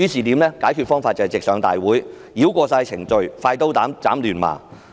解決方法是直上大會，繞過所有程序，"快刀斬亂麻"。